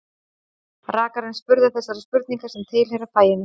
Rakarinn spurði þessara spurninga sem tilheyra faginu